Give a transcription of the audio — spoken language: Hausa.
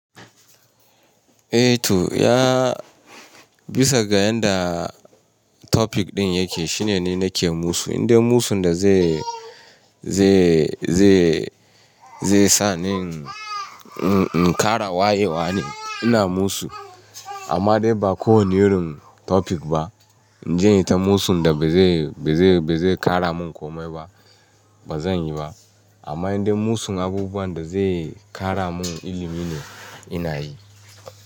Eh to yaa bisa ga yanda topic ɗin yake shine ni nake musu. Indai musun da zai, zai, zai, zai sa ni in, in, in ƙara wayewa ne ina musu. Amma dai ba kowane yurin topic ba. In je in yi ta musun da ba zai, ba zai, ba zai ƙara min komai ba, ba zan yi ba. Amma indai musun abubuwan da zai ƙara mun ilimi ne, ina yi.